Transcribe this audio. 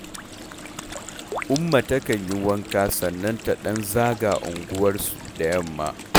Umma takan yi wanka sannan ta ɗan zaga unguwarsu da yamma